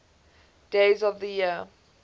days of the year